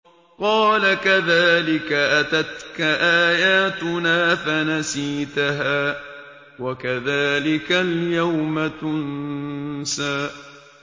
قَالَ كَذَٰلِكَ أَتَتْكَ آيَاتُنَا فَنَسِيتَهَا ۖ وَكَذَٰلِكَ الْيَوْمَ تُنسَىٰ